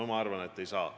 Mina arvan, et ei saa.